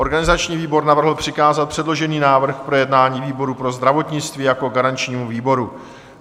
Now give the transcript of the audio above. Organizační výbor navrhl přikázat předložený návrh k projednání výboru pro zdravotnictví jako garančnímu výboru.